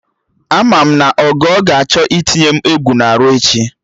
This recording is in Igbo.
Ama m na Ogo ga-achọ itinye m egwu na-arụ echi